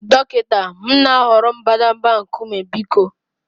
dọkịta, m na-ahọrọ mbadamba nkume biko